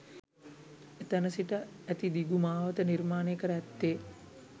එතැන සිට ඇති දිගු මාවත නිර්මාණය කර ඇත්තේ